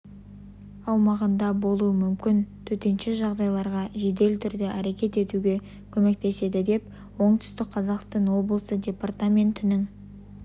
аумағында болуы мүмкін төтенше жағдайларға жедел түрде әрекет етуге көмектеседі деп оңтүстік қазақстан облысы департаментінің